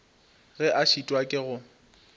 ge a šitwa ke go